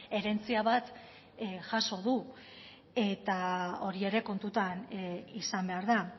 herentzia bat jaso du eta hori ere kontutan izan behar da